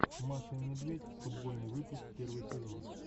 маша и медведь футбольный выпуск первый сезон